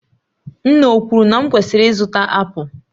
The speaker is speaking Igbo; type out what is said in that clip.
Nne ọ kwuru na m kwesịrị ịzụta apụl?